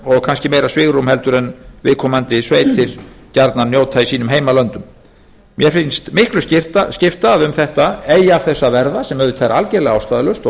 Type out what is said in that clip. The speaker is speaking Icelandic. og kannski meira svigrúm heldur en viðkomandi sveitir jafnvel njóta í sínum heimalöndum mér finnst miklu skipta að eigi af þessu að verða sem auðvitað er algerlega ástæðulaust